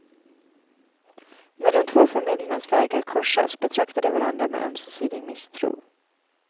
När de två familjernas vägar korsas betraktar de varandra med ömsesidig misstro.